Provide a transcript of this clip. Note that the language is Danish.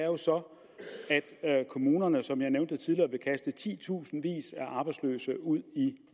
jo så er at kommunerne som jeg nævnte tidligere vil kaste titusindvis af arbejdsløse ud i